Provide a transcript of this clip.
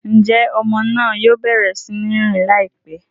Njé ọmọ náà yóò bẹrẹ sí n rìn laipẹ?